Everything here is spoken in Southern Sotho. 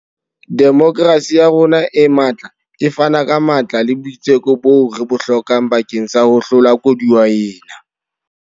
Demokerasi ya rona e matla e fana ka matla le boitseko boo re bo hlokang bakeng sa ho hlola koduwa ena.